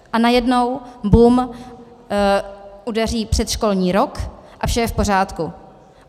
A najednou bum, udeří předškolní rok a vše je v pořádku.